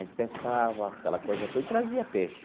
A gente pescava, aquela coisa toda, e trazia peixe.